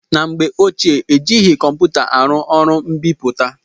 Na mgbe ochie, ejighị kọmputa arụ ọrụ mbipụta.